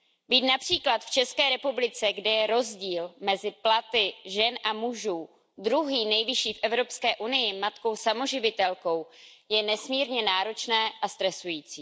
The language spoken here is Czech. Být například v České republice, kde je rozdíl mezi platy žen a mužů druhý nejvyšší v Evropské unii, matkou samoživitelkou je nesmírně náročné a stresující.